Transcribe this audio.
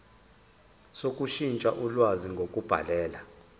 sokushintsha ulwazi ngokubhalela